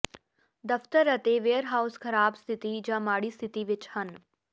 ਦਫ਼ਤਰ ਅਤੇ ਵੇਅਰਹਾਊਸ ਖਰਾਬ ਸਥਿਤੀ ਜਾਂ ਮਾੜੀ ਸਥਿਤੀ ਵਿੱਚ ਹਨ